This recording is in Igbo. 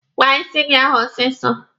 Kpaa isi gị ahụ ọsịsọ!